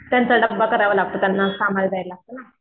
त्यांचा डब्बा करावा लागतो त्यांना कामाला जायला लागतं ना.